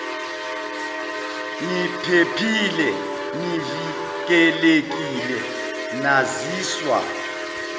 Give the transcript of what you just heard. niphephile nivikelekile naziswa